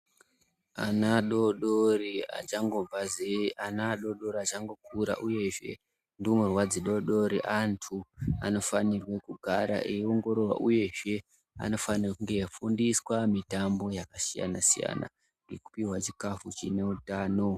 Ana adodori achangobva zee ana adodori achangokura uyezve ndumurwa dzidodori antu anofanirwe kugara eiongororwa uyezve eifundiswa mitambo yakasiyana siyana nekupiwa chikafu chine utano.